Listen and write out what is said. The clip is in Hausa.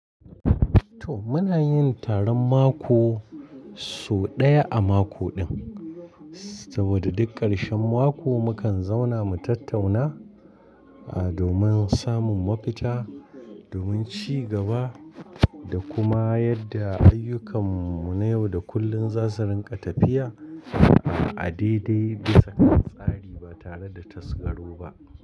To muna yin taron mako so ɗaya a mako ɗin, saboda duk ƙarshen mako mukan zauna mu tattauna, ah domin samun mafita, domin ci gaba da kuma yadda ayyukanmu na yau da kullum za su rinƙa tafiya a daidai da tsari ba tare da tasgaro ba.